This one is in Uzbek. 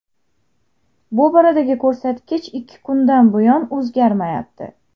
Bu boradagi ko‘rsatkich ikki kundan buyon o‘zgarmayapti.